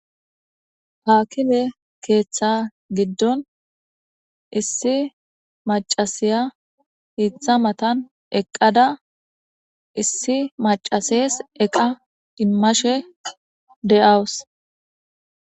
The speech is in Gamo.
Aakime keeththa giddon issi maccasiya hiththa matan eqqada issi maccaseesi eqa immashe de'awuss.